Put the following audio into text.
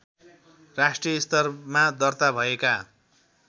राष्ट्रिय स्तरमा दर्ताभएका